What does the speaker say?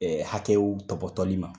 Ɛɛ hakɛw tɔpɔtɔli ma.